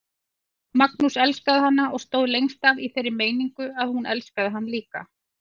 Magnús elskaði hana og stóð lengst af í þeirri meiningu að hún elskaði hann líka.